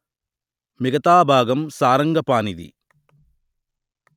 మిగతా భాగం సారంగపాణిది